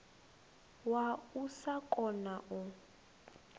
wa u sa kona u